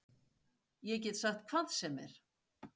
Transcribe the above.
Ég get sagt hvað sem er.